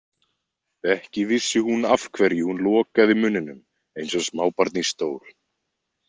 Ekki vissi hún af hverju hún lokaði munninum eins og smábarn í stól.